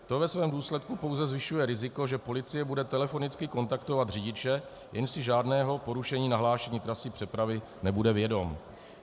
To ve svém důsledku pouze zvyšuje riziko, že policie bude telefonicky kontaktovat řidiče, jenž si žádného porušení nahlášení trasy přepravy nebude vědom.